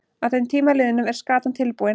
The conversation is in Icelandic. Að þeim tíma liðnum er skatan tilbúin.